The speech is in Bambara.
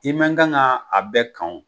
I ma kan ga a bɛɛ kan o